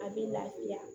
A bɛ lafiya